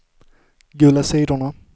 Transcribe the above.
gula sidorna